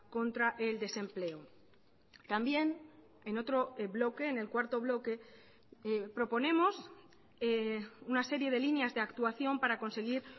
contra el desempleo también en otro bloque en el cuarto bloque proponemos una serie de líneas de actuación para conseguir